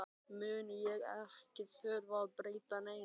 mun ég ekki þurfa að breyta neinu.